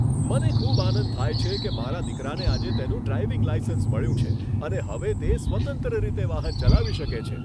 મને ખૂબ આનંદ થાય છે કે મારા દીકરાને આજે તેનું ડ્રાઇવિંગ લાઇસન્સ મળ્યું છે અને હવે તે સ્વતંત્ર રીતે વાહન ચલાવી શકે છે.